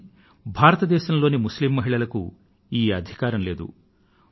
కానీ భారతదేశం లోని ముస్లిమ్ మహిళలకు ఈ అధికారం లేదు